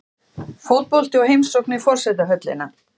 Fótbolti og heimsókn í forsetahöllina